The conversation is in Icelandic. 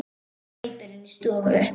Palli hleypur inn í stofu.